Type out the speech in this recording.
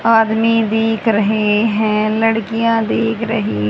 आदमी दिख रहे है लड़कियां दिख रही--